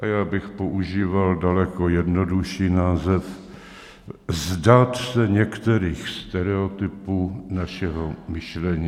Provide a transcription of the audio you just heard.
A já bych používal daleko jednodušší název - vzdát se některých stereotypů našeho myšlení.